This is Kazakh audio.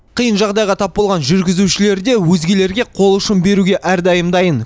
қиын жағдайға тап болған жүргізушілер де өзгелерге қол ұшын беруге әрдайым дайын